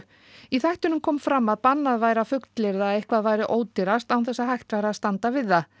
í þættinum kom fram að bannað væri að fullyrða að eitthvað væri ódýrast án þess að hægt væri að standa við það